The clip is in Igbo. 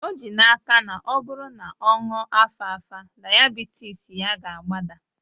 O ji n'aka na ọ bụrụ na ọ ṅụọ alfalfa, dayabitis ya ga-agbada